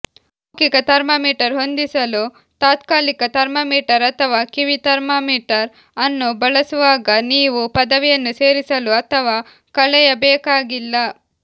ಮೌಖಿಕ ಥರ್ಮಾಮೀಟರ್ ಹೊಂದಿಸಲು ತಾತ್ಕಾಲಿಕ ಥರ್ಮಾಮೀಟರ್ ಅಥವಾ ಕಿವಿ ಥರ್ಮಾಮೀಟರ್ ಅನ್ನು ಬಳಸುವಾಗ ನೀವು ಪದವಿಯನ್ನು ಸೇರಿಸಲು ಅಥವಾ ಕಳೆಯಬೇಕಾಗಿಲ್ಲ